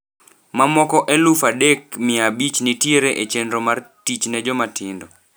Mamoko eluf adek mia abich nitiere e chenro mar 'Tich ne Jomatindo'.